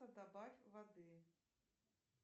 добавь воды